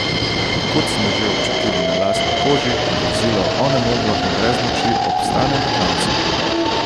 Kot smo že občutili na lastni koži, vozilo onemoglo in brez moči obstane na klancu.